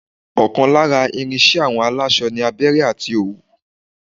ọ̀kan lára ìrìn iṣẹ àwọn aláṣọ ni abẹrẹ àti òwú